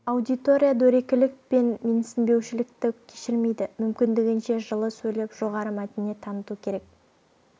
аудитория дөрекілік пен менсінбеушілікті кешірмейді мүмкіндігінше жылы сөйлеп жоғары мәдениет таныту керек